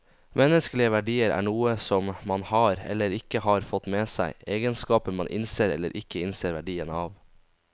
Menneskelige verdier er noe som man har, eller ikke har fått med seg, egenskaper man innser eller ikke innser verdien av.